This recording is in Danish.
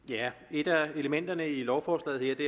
et af elementerne i lovforslaget